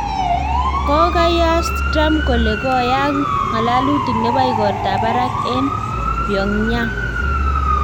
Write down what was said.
Kokakoyas Trump kole koyaak ng'alalutik nebo igortab barak eng Pyong'yang